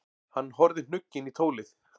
Hann horfði hnugginn í tólið.